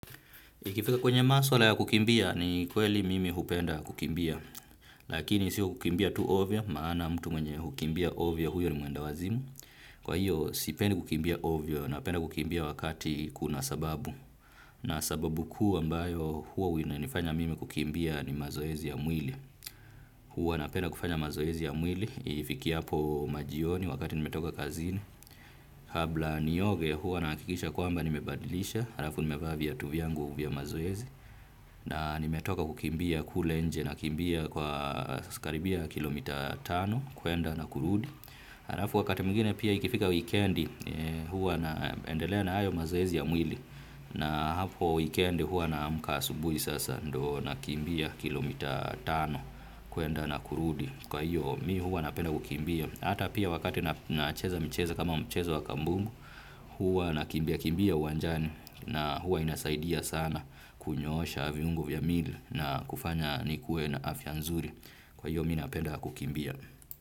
Ikifika kwenye maswala ya kukimbia ni kweli mimi hupenda kukimbia. Lakini si kukimbia tu ovyo maana mtu mwenye hukimbia ovyo huyo ni mwendawazimu. Kwa hiyo sipendi kukimbia ovyo napenda kukimbia wakati kuna sababu. Na sababu kuu ambayo huwa inanifanya mimi kukimbia ni mazoezi ya mwili. Huwa napenda kufanya mazoezi ya mwili. Ifikiapo majioni wakati nimetoka kazini. Kabla nioge huwa nahakikisha kwamba nimebadilisha. Harafu nimevaa viatu viangu vya mazoezi. Na nimetoka kukimbia kule nje nkimbia kwa skaribia kilomita tano kuenda na kurudi. Halafu wakati mwingine pia ikifika weekend huwa naendelea na hayo mazoezi ya mwili. Na hapo weekendii huwa naamka asubui sasa ndo nakimbia kilomita tano kuenda na kurudi. Kwa hiyo mi huwa napenda kukimbia. Ata pia wakati nacheza michezo kama mchezo wa kambumbu huwa nakimbia kimbia uwanjani na huwa inasaidia sana kunyoosha viungo vya mili na kufanya nikue na afya nzuri. Kwa hiyo mi napenda kukimbia.